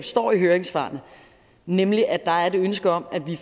står i høringssvarene nemlig at der er et ønske om at vi